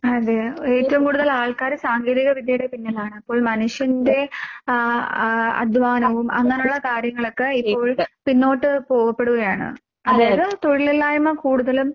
അതെയോ? ഏറ്റോം കൂടുതലാൾക്കാര് സാങ്കേതിക വിദ്യയുടെ പിന്നിലാണപ്പോൾ മനുഷ്യന്റെ ആഹ് ആഹ് അധ്വാനവും അങ്ങനൊള്ള കാര്യങ്ങളൊക്കെ ഇപ്പോൾ പിന്നോട്ട് പോകപ്പെടുകയാണ്. അതായത് തൊഴിലില്ലായ്‌മ കൂടുതലും